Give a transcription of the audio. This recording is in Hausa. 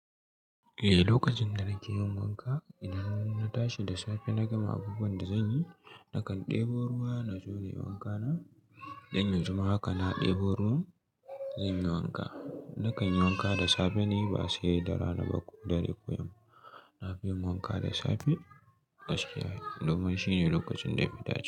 Eh, lokacin da nake yin wanka, idan na tashi da safe na gama abubuwan da zanyi, nakan ɗebo ruwa na zo na yi wanka na. Dan yanzu ma haka na ɗebo ruwan zan yi wanka. Nakan yi wanka da safe ne ba sai da rana ba ko dare ko yamma. Na fi yin wanka da safe, domin shine lokacin da yafi dacewa.